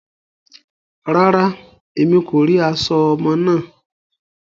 Rárá, Èmí kò ri aṣọ ọmọ náà